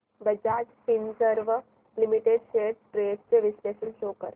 Bajaj Finserv limited shares trends चे विश्लेषण show कर